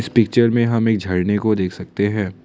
इस पिक्चर में हम एक झरने को देख सकते हैं।